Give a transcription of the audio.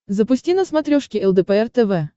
запусти на смотрешке лдпр тв